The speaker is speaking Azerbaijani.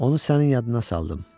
Onu sənin yadına saldım.